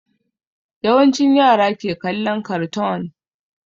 Yawancin yara ke kallon kartoon